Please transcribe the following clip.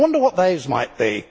I wonder what those might be.